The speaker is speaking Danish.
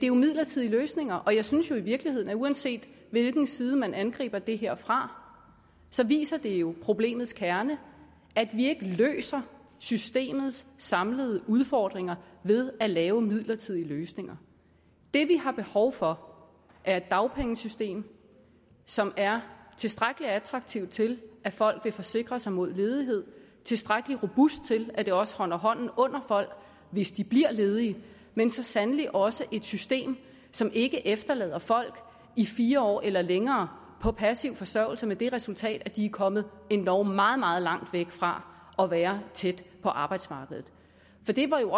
jo midlertidige løsninger jeg synes jo i virkeligheden at uanset hvilken side man angriber det her fra viser det jo problemets kerne at vi ikke løser systemets samlede udfordringer ved at lave midlertidige løsninger det vi har behov for er et dagpengesystem som er tilstrækkelig attraktivt til at folk vil forsikre sig mod ledighed tilstrækkelig robust til at det også holder hånden under folk hvis de bliver ledige men så sandelig også et system som ikke efterlader folk i fire år eller længere på passiv forsørgelse med det resultat at de er kommet endog meget meget langt væk fra at være tæt på arbejdsmarkedet for det var det